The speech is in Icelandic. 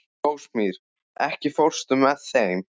Rósmarý, ekki fórstu með þeim?